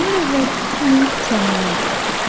Onlar əvvəlki kimi səmimi idilər.